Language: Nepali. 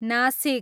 नासिक